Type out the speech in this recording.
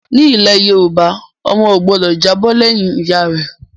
Nílẹ̀ Yorùbá, ọmọ ò gbọ́dọ̀ jábọ̀ lẹ́yìn Ìyá rẹ